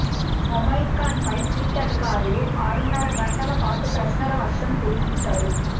ముమైత్ ఖాన్పై సిట్ అధికారులు ఆరున్నర గంటల పాటు ప్రశ్నల వర్షం కురిపించారు